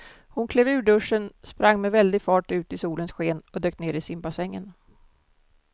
Hon klev ur duschen, sprang med väldig fart ut i solens sken och dök ner i simbassängen.